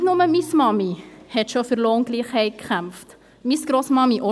Nicht nur meine Mami kämpfte schon für Lohngleich, sondern auch schon meine Grossmami.